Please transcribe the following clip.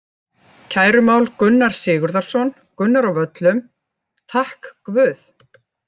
Kærumál Gunnar Sigurðarson, Gunnar á Völlum: Takk guð.